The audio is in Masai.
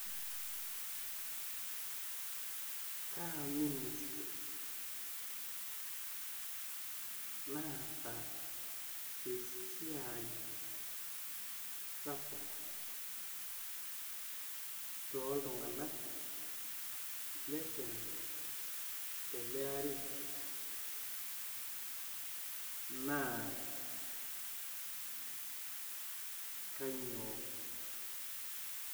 kaa ministri naata esiai sapuk toltunganak le kenya teleari naa kainyioo?